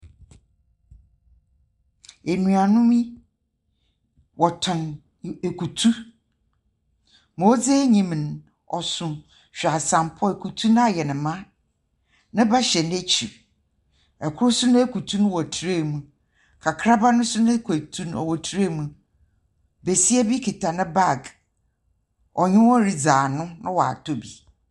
Enuanom yi wɔtɔn i ekutu. Ma odzi enyim no, ɔso hweasambɔ, ekutu no ayɛ no ma. Ne ba hyɛ n'ekyir. Kor nso n'ekutu no wɔ tray mu. Kakraba no nso n'ekutu no wɔ tray mu. Besia bi kita ne bag. Ɔnye hɔn ridzi ano na ɔatɔ bi.